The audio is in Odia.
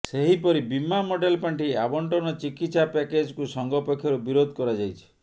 ସେହିପରି ବୀମା ମଡେଲ ପାଣ୍ଠି ଆବଂଟନ ଚିକିତ୍ସା ପ୍ୟାକେଜ୍କୁ ସଂଘ ପକ୍ଷରୁ ବିରୋଧ କରାଯାଇଛି